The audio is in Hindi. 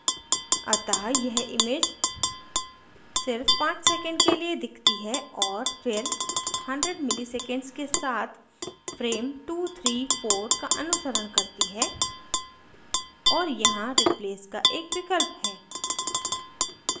अतः यह image सिर्फ 5 seconds के लिए दिखती है और फिर 100 मिलीसेकन्ड्स के साथ frames 234 का अनुसरण करती हैं और यहाँ replace का एक विकल्प है